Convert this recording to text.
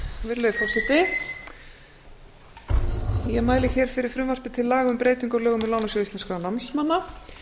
virðulegi forseti ég mæli hér fyrir frumvarpi til laga um breytingu á lögum um lánasjóð íslenskra námsmanna